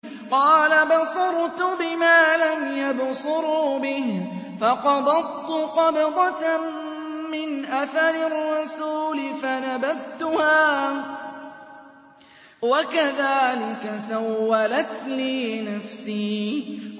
قَالَ بَصُرْتُ بِمَا لَمْ يَبْصُرُوا بِهِ فَقَبَضْتُ قَبْضَةً مِّنْ أَثَرِ الرَّسُولِ فَنَبَذْتُهَا وَكَذَٰلِكَ سَوَّلَتْ لِي نَفْسِي